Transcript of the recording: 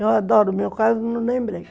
Eu adoro o meu carro, não lembrei.